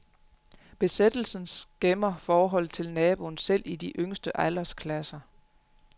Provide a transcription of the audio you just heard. Besættelsen skæmmer forholdet til naboen selv i de yngste aldersklasser.